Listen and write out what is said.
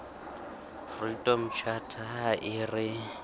freedom charter ha e re